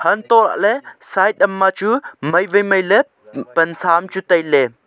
hantoh lah ley side am ma chu mai wai mai ley pansa am chu tai ley.